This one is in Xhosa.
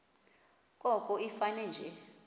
koko ifane nje